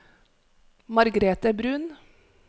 Margrete Bruun